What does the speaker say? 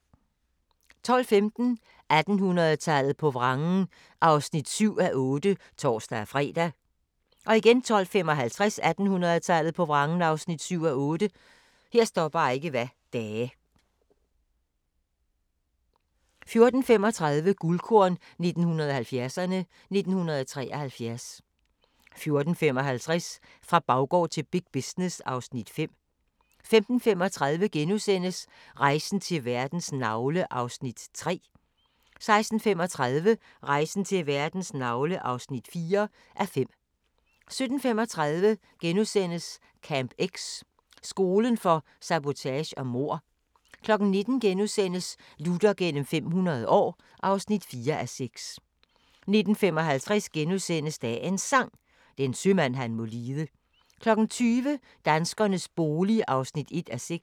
12:15: 1800-tallet på vrangen (7:8)(tor-fre) 12:55: 1800-tallet på vrangen (7:8) 14:35: Guldkorn 1970'erne: 1973 14:55: Fra baggård til big business (Afs. 5) 15:35: Rejsen til verdens navle (3:5)* 16:35: Rejsen til verdens navle (4:5) 17:35: Camp X – skolen for sabotage og mord * 19:00: Luther gennem 500 år (4:6)* 19:55: Dagens Sang: Den sømand han må lide * 20:00: Danskernes bolig (1:6)